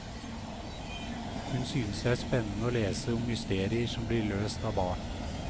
Hun synes det er spennende å lese om mysterier som blir løst av barn.